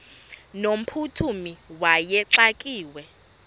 no mphuthumi wayexakiwe